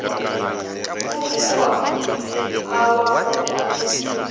go goa a wa go